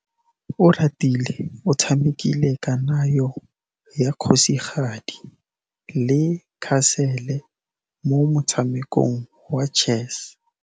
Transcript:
Oratile o tshamekile kananyô ya kgosigadi le khasêlê mo motshamekong wa chess.